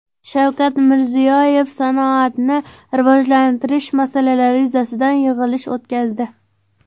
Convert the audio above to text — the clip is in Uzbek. Shavkat Mirziyoyev sanoatni rivojlantirish masalalari yuzasidan yig‘ilish o‘tkazdi.